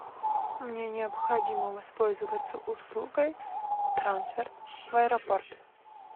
мне необходимо воспользоваться услугой трансфер в аэропорт